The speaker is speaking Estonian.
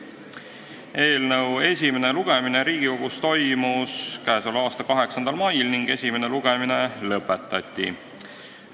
Eelnõu esimene lugemine Riigikogus toimus k.a 8. mail ning esimene lugemine lõpetati.